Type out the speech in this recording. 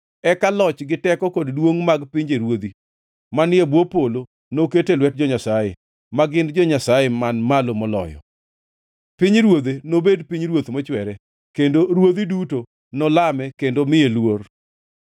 Eka loch, gi teko kod duongʼ mag pinjeruodhi manie bwo polo noket e lwet jo-Nyasaye, ma gin jo-Nyasaye Man Malo Moloyo. Pinyruodhe nobed pinyruoth mochwere, kendo ruodhi duto nolame kendo miye luor.’